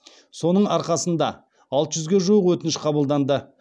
соның арқасында алты жүзге жуық өтініш қабылданды